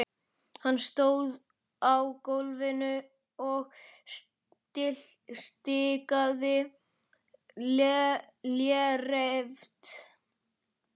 Hann stóð á gólfinu og stikaði léreft.